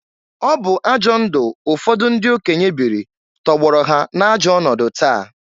Ọbụ ajọ ndụ ụfọdụ ndị okenye biri tọgbọrọ ha na-ajọ ọnọdụ taa.